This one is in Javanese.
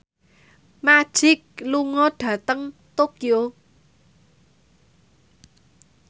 Magic lunga dhateng Tokyo